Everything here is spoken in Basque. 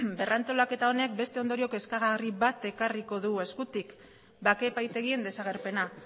berrantolaketa honek beste ondorio kezkagarri bat ekarriko du eskutik bake epaitegien desagerpena